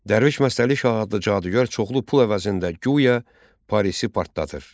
Dərviş Məstəli Şah adlı cadügər çoxlu pul əvəzində guya Parisi partladır.